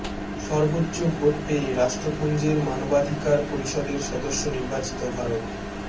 সর্বোচ্চ ভোট পেয়ে রাষ্ট্রপুঞ্জের মানবাধিকার পরিষদের সদস্য নির্বাচিত ভারত